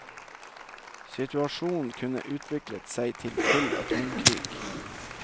Situasjonen kunne utviklet seg til full atomkrig.